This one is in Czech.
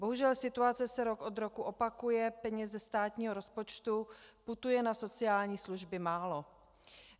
Bohužel situace se rok od roku opakuje, peněz ze státního rozpočtu putuje na sociální služby málo.